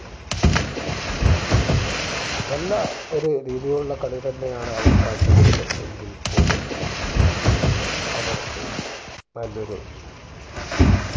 നല്ല ഒരു രീതിയിലുള്ള കളി തന്നെയാണ് അവർ കാഴ്ചവെച്ചത് എങ്കിൽ പോലും അവർക്ക് നല്ലൊരു